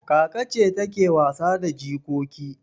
Kaka ce take wasa da jikoki.